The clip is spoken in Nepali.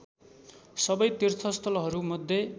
सबै तीर्थस्थलहरू मध्ये